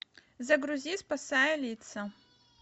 загрузи спасая лица